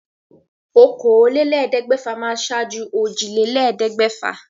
Okòólélẹ́ẹ̀ẹ́dẹ́gbẹ́fà ṣáájú òjìlélẹ́ẹ̀ẹ́dẹ́gbẹ́fà